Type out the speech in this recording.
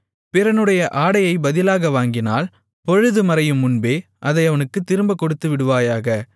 பிறனுடைய ஆடையை பதிலாக வாங்கினால் பொழுதுமறையும் முன்பே அதை அவனுக்குத் திரும்பக் கொடுத்துவிடுவாயாக